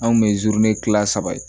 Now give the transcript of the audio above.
Anw kun bɛ zuwe kilan saba ye